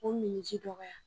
O minniji dɔgɔya